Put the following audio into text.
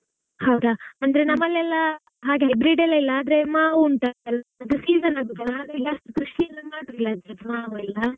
ಹೌದಾ? ಅಂದ್ರೆ ನಮ್ಮಲೆಲ್ಲ ಹಾಗೆ hybrid ಅಲ್ಲೆಲ್ಲ ಮಾವು ಉಂಟಲ್ಲಾ .